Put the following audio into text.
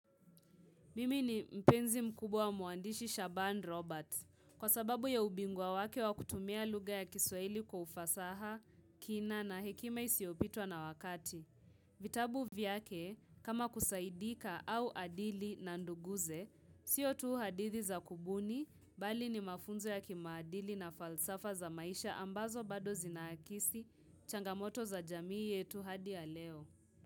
Mimi ni mpenzi mkubwa mwandishi Shaban Roberts kwa sababu ya ubingwa wake wa kutumia lugha ya kiswahili kwa ufasaha, kina na hekima isiyopitwa na wakati. Vitabu vyake kama kusaidika au adili na nduguze, siyo tuu hadithi za kubuni bali ni mafunzo ya kimaadili na falsafa za maisha ambazo bado zinaakisi changamoto za jamii yetu hadi ya leo.